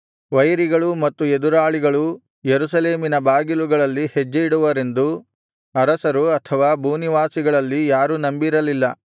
ವೈರಿಗಳೂ ಮತ್ತು ಎದುರಾಳಿಗಳೂ ಯೆರೂಸಲೇಮಿನ ಬಾಗಿಲುಗಳಲ್ಲಿ ಹೆಜ್ಜೆಯಿಡುವರೆಂದು ಅರಸರು ಅಥವಾ ಭೂನಿವಾಸಿಗಳಲ್ಲಿ ಯಾರೂ ನಂಬಿರಲಿಲ್ಲ